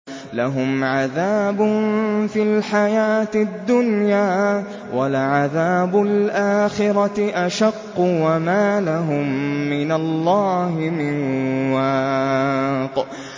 لَّهُمْ عَذَابٌ فِي الْحَيَاةِ الدُّنْيَا ۖ وَلَعَذَابُ الْآخِرَةِ أَشَقُّ ۖ وَمَا لَهُم مِّنَ اللَّهِ مِن وَاقٍ